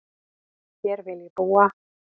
Hér vil ég búa